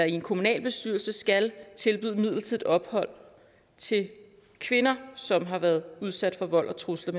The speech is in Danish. en kommunalbestyrelse skal tilbyde midlertidigt ophold til kvinder som har været udsat for vold trusler